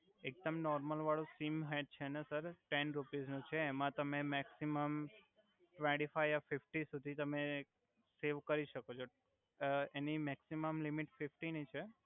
એક દમ નોરમલ વાળું સિમ હે છે ને સર ટેન રુપિસ નુ છે એમા તમે મેકસિમમ ટવેંટિ ફઈવ યા ફિફટી સુધિ તમે સવે કરી સકો છો uh any maximum limit fifty નિ છે.